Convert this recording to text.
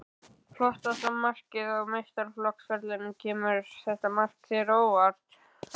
Flottasta markið á meistaraflokksferlinum Kemur þetta mark þér á óvart?